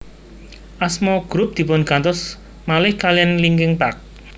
Asma grup dipun gantos malih kaliyan Linkin Park